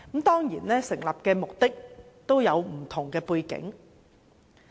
當然，成立這類委員會都有不同背景。